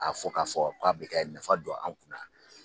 A f'ɔ k'a fɔ k'a bɛ ka nafa don an kunna